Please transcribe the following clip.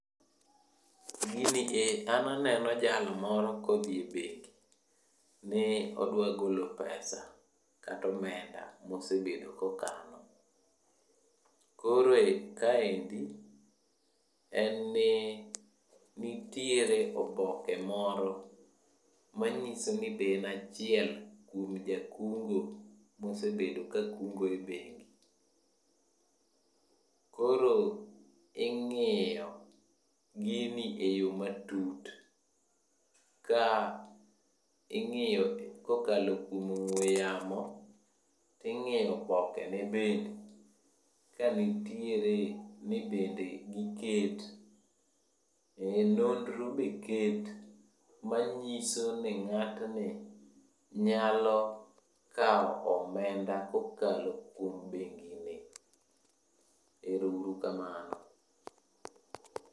Gini e an aneno jal moro kodhi e bengi ni odwa golo pesa katomenda mosebedo kokano. Koro e kaendi, en ni nitiere oboke moro manyiso ni be en achiel kuom jakungo mosebedo kakungo e bengi. Koro ing'iyo gini eyomatut, ka ing'iyo kokalo kuom ong'we yamo, ting'iyo obokene bende ka nitiere ni bende giket. E nonro be ket manyiso ni ng'atni nyalo kawo omenda kokalo kuom bengini. Erouru kamano.